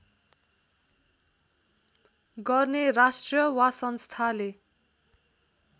गर्ने राष्ट्र वा संस्थाले